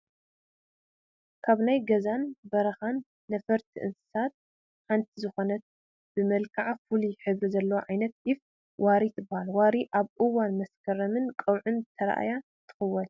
ካብ ናይ ገዛን በረኻን ነፈርቲ እንስሳት ሓንቲ ዝኾነት ብመልክዓ ፍሉይ ሕብሪ ዘለዋ ዓይነት ዒፍ ዋሪ ትባሃል፡፡ ዋሪ ኣብ እዋን መስከረምን ቀውዕን ተራእያ ትኽወል፡፡